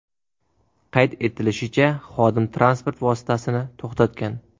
Qayd etilishicha, xodim transport vositasini to‘xtatgan.